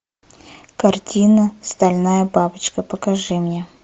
картина стальная бабочка покажи мне